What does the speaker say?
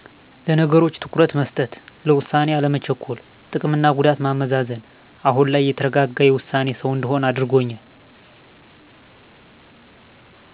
ለነገሮች ትኩረት መስጠት፣ ለውሳኔ አለመቸኮል፣ ጥቅምና ጉዳት ማመዛዘን። አሁን ላይ የተረጋጋ የውሳኔ ሰው እንድሆን አድርጎኛል።